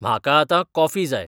म्हाका आतां कॉफी जाय